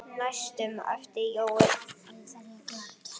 næstum æpti Jói.